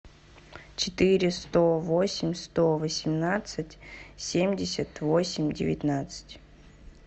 четыре сто восемь сто восемнадцать семьдесят восемь девятнадцать